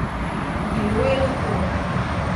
Bilo je lepo.